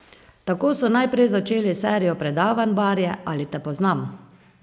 Tako so najprej začeli s serijo predavanj Barje, ali te poznam?